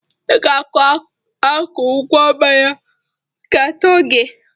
I ga-akụ ụgwọ mmanya nke atọ gị.